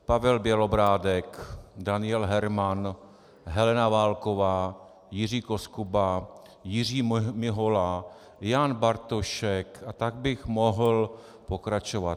Pavel Bělobrádek, Daniel Herman, Helena Válková, Jiří Koskuba, Jiří Mihola, Jan Bartošek a tak bych mohl pokračovat.